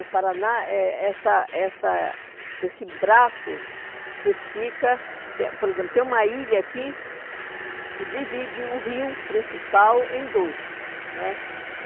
O Paraná é é essa essa esse braço que fica tem, por exemplo, tem uma ilha aqui e divide o rio principal em dois né.